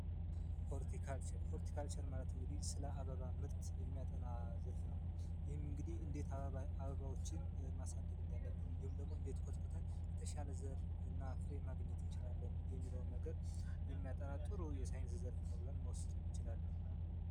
ሆርቲካልቸር ማለት እንግዲህ ስለ አበባ ምርት የሚያጠና ዝርፍ ነው። እንግዲህ እንዴት አበባዎችን ማሳደግኩታል የተሻለ ይችላሉ የሚለውን ነገር ጥሩ የሳይንስ ዘርፍ ይችላሉ።